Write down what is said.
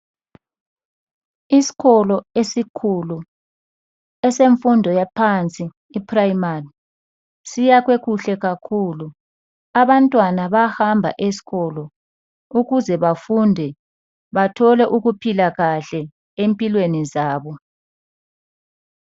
Isikolo esikhulu esemfundo yaphansi iPrimary, siyakhiwe kuhle kakhulu. Abantwana bayahamba esikolo ukuze bafunde bathole ukuphila kahle empilweni zabo.